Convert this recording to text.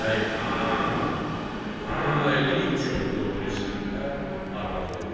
Bəy eləyib döndü o biri səmtə, arvadı dedi: